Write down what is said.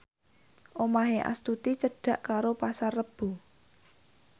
omahe Astuti cedhak karo Pasar Rebo